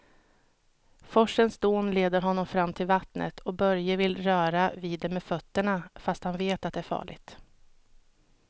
Forsens dån leder honom fram till vattnet och Börje vill röra vid det med fötterna, fast han vet att det är farligt.